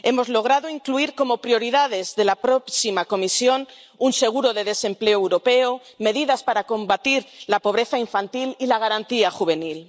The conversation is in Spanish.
Hemos logrado incluir como prioridades de la próxima Comisión un seguro de desempleo europeo, medidas para combatir la pobreza infantil y la Garantía Juvenil.